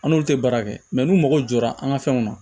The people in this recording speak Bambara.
An n'olu tɛ baara kɛ n'u mago jɔra an ka fɛnw na